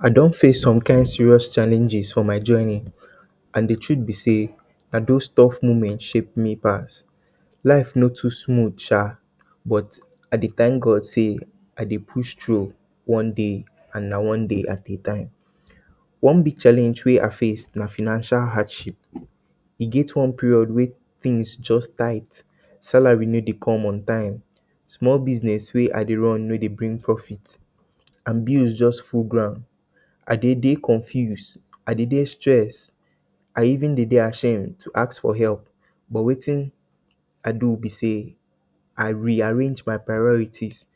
I don face some kind serious challenges for my journey and de trut be sey na dos though moment shape me pass. life no too smooth sha but I dey thank God sey I dey push through one day and na one day at a time. One big challenge wey I face na financial hardship e get one period wey things just tight salary no dey come on time, small business wey I dey run no dey bring profit and bills just full ground, I dey dey confuse, I dey dey stressed I even dey ashamed to ask for help, but wetin I do be sey I rearrange my priorities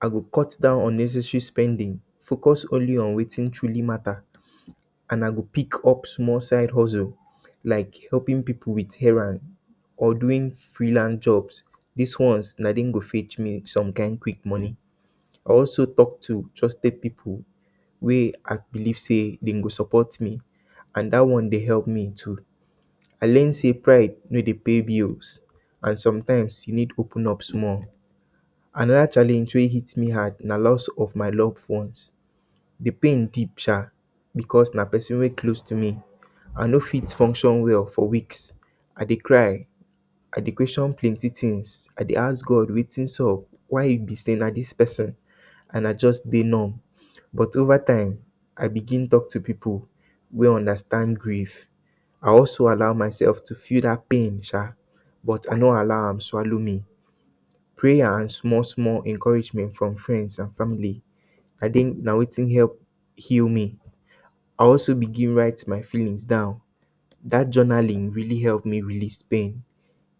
I go cut down unnecessary spending, focus on wetin truly matter and I go pick up small side hustle like helping pipu with errands or doing free hand job, dis ones na dem go fetch me some kind quick money, I also talk to trusted pipu wey I believe sey dem go support me and dat one dey help me too. I learn sey pride no dey pay bills and sometimes you need open up small. Anoda challenges wey hit me hard na lost of my loved one, de pain deep sha because na persin wey dey close to me, I no fit function well for weeks, I dey cry, I dey question plenty things, I dey ask God wetin sup, why be sey na dis persin and I just dey numb. But overtime I begin talk to pipu wey understand grief, I also allow myself to feel dat pain sha but I no allow am swallow me. Prayer and small small encouragement from friends and family um na wetin help heal me. I also begin write my feelings down, dat journaling really help me release pain,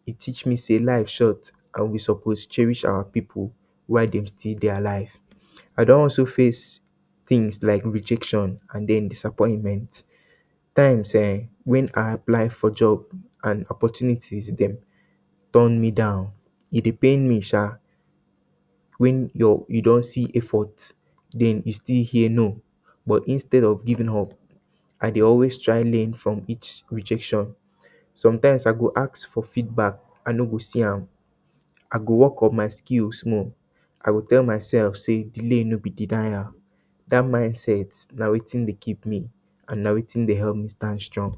e teach me sey life short and we suppose cherish our pipu while dem still dey alive. I don also face things like rejection and den disappointment times um when I apply for job and opportunities dem turn me down e dey pain sha when your you don see effort and you still hear no, but instead of giving up I dey always try learn from each rejection. Sometimes I go ask for feedback I no go see am, I go work on my skill small, I go tell myself sey delay no be denial dat mindset na wetin dey keep me and na wetin dey help me stand strong